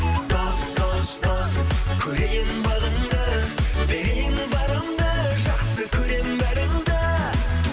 дос дос дос көрейін бағыңды берейін барымды жақсы көремін бәріңді